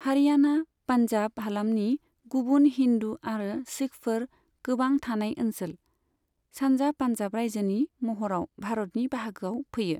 हारियाणा, पान्जाब हालामनि गुबुन हिन्दू आरो सिखफोर गोबां थानाय ओनसोल, सानजा पान्जाब रायजोनि महराव भारतनि बाहागोआव फैयो।